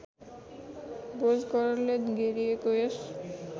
भोजघरले घेरिएको यस